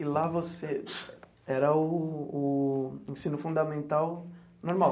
E lá você era o o o ensino fundamental normal?